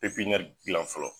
gilan fɔlɔ.